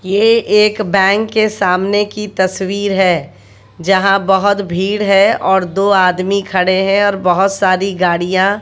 ये एक बैंक के सामने की तस्वीर है जहां बहुत भीड़ है और दो आदमी खड़े हैं और बहोत सारी गाड़ियां--